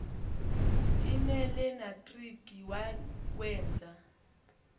l nelenatriki wawenza